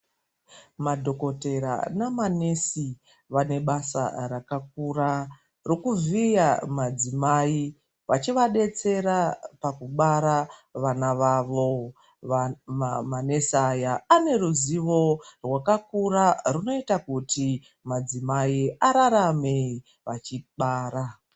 Madhokoteya nama nesi vane basa rakakura rekuvhiya madzimai vachivadetsera pakubara vana vavo ,ma nesi va vane ruzivo rwakakura rwunoita kuti madzimai ararame achibara.